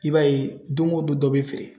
I b'a ye don o don dɔ bɛ feere.